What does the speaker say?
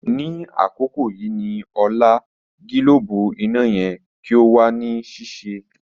Ni akoko yii ni ọla, gilobu ina yẹ ki o wa ni sise.